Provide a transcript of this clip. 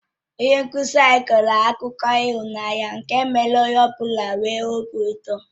Onye nkụzi anyị kọrọ akụkọ ịhụnanya nke mèrè onye ọ bụla nwee obi ụtọ